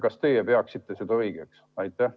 Kas teie peaksite seda õigeks?